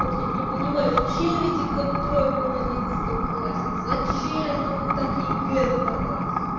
вот я не понимаю зачем эти контрольные в одиннадцатом классе зачем нам и так егэ сдавать